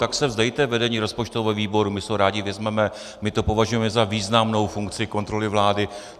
Tak se vzdejte vedení rozpočtového výboru, my si ho rádi vezmeme, my to považujeme za významnou funkci kontroly vlády.